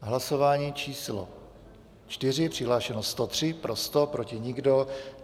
Hlasování číslo 4, přihlášeno 103, pro 100, proti nikdo.